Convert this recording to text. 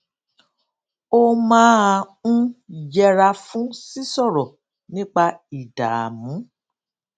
ó máa ń yẹra fún sísòrò nípa ìdààmú